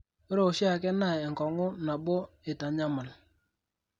ore oshiake naa enkong'u nabo eitanyamal.